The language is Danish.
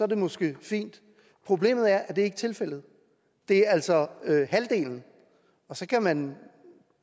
det måske fint problemet er at det ikke er tilfældet det er altså halvdelen og så kan man